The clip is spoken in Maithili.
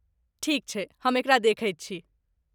ठीक छै, हम एकरा देखैत छी।